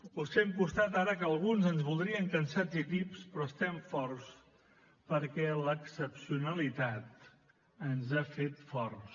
us fem costat ara que alguns ens voldrien cansats i tips però estem forts perquè l’excepcionalitat ens ha fet forts